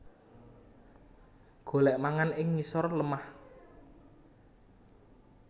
Golèk mangan ing ngisor lemah